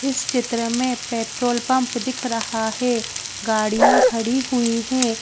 इस चित्र में पेट्रोल पंप दिख रहा है गाड़ियां खड़ी हुई हैं।